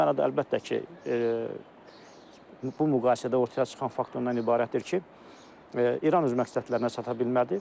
Bu mənada əlbəttə ki, bu müqayisədə ortaya çıxan faktor ondan ibarətdir ki, İran öz məqsədlərinə çata bilmədi.